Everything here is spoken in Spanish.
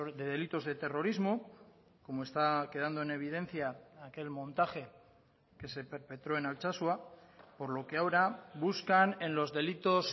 de delitos de terrorismo como está quedando en evidencia aquel montaje que se perpetró en altsasua por lo que ahora buscan en los delitos